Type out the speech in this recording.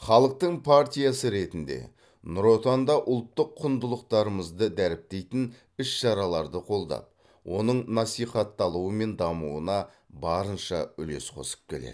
халықтың партиясы ретінде нұр отан да ұлттық құндылықтарымызды дәріптейтін іс шараларды қолдап оның насихатталуы мен дамуына барынша үлес қосып келеді